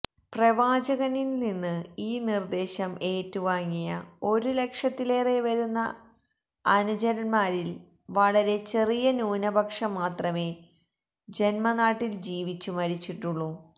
പ്രവാചകനില്നിന്ന് ഈ നിര്ദേശം ഏറ്റുവാങ്ങിയ ഒരു ലക്ഷത്തിലേറെ വരുന്ന അനുചരന്മാരില് വളരെ ചെറിയ ന്യൂനപക്ഷം മാത്രമേ ജന്മനാട്ടില് ജീവിച്ചു മരിച്ചിട്ടുള്ളൂ